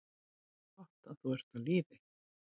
Gott að þú ert á lífi.